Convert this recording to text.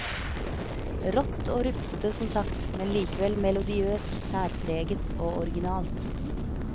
Rått og rufsete som sagt, men likevel melodiøst, særpreget og originalt.